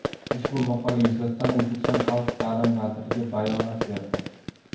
Ushbu maqola yuzasidan O‘zbekiston Xalq ta’limi vazirligi bayonot berdi .